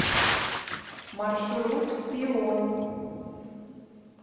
маршрут пион